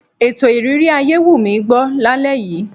Ètò ìrírí ayé wù mí gbọ́ lálẹ́ yìí.